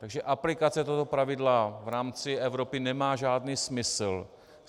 Takže aplikace tohoto pravidla v rámci Evropy nemá žádný smysl.